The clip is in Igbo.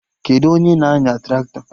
Kedụ onye na-anya Traktọ?